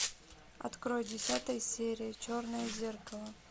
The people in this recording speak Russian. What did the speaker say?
открой десятая серия черное зеркало